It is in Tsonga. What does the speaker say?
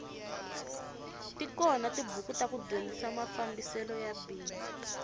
tikona tibuku ta ku dyondzisa mafambiselo ya bindzu